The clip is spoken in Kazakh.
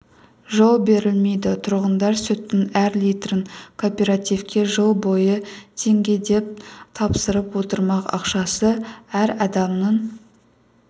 жол берілмейді тұрғындар сүттің әр литрін кооперативке жыл бойы теңгеден тапсырып отырмақ ақшасы әр адамның